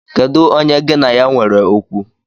Kedu onye gi na ya nwere okwu?